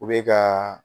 U bɛ ka